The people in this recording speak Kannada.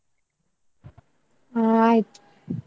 ಹಾ ಆಯ್ತ್.